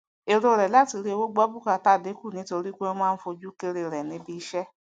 èrò rẹ látirí owó gbọ bùkátà dínkù nítorípé wọn máa ń fojú kéré rẹ níbí iṣẹ